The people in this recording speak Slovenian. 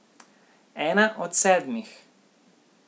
Ena od sedmih.